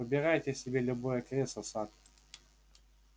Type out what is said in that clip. выбирайте себе любое кресло сатт